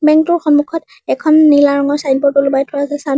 ATM টোৰ সন্মুখত এখন নীলা ৰঙৰ চাইনব'ৰ্ড ওলোমাই থোৱা আছে চাইন --